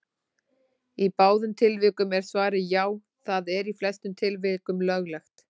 Í báðum tilvikum er svarið: Já, það er í flestum tilvikum löglegt.